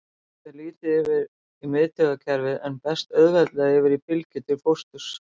Það fer lítið yfir í miðtaugakerfið en berst auðveldlega yfir fylgju til fósturs.